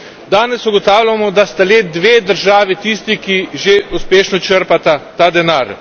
Danes ugotavljamo, da sta le dve državi tisti, ki že uspešno črpata ta denar.